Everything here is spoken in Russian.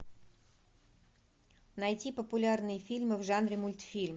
найти популярные фильмы в жанре мультфильм